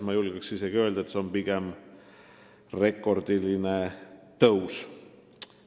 Julgeksin isegi öelda, et see on pigem rekordiline tõus.